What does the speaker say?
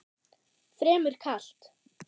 Fremur kalt.